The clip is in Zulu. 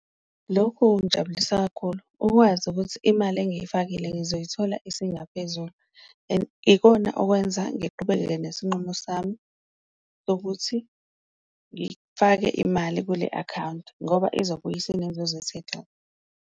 Lokhu kungijabulisa kakhulu ukwazi ukuthi imali engiyifakile ngizoyithola isingaphezulu, and ikona okwenza ngiqhubekeke nesinqumo sami sokuthi ngifake imali kule akhawunti ngoba izokubuya isenenzuzo .